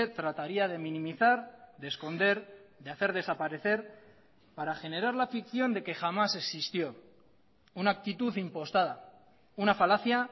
trataría de minimizar de esconder de hacer desaparecer para generar la ficción de que jamás existió una actitud impostada una falacia